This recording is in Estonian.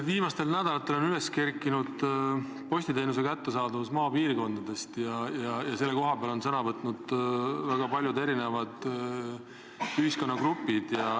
Viimastel nädalatel on üles kerkinud postiteenuse kättesaadavus maapiirkondades ja selle kohta on sõna võtnud väga paljud erinevad ühiskonnagrupid.